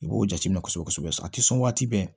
I b'o jateminɛ kosɛbɛ kosɛbɛ a tɛ sɔn waati bɛɛ